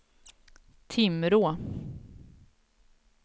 Timrå